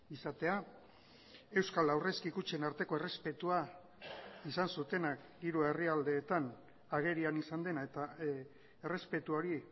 izatea euskal aurrezki kutxen arteko errespetua izan zutenak hiru herrialdeetan agerian izan dena eta errespetu hori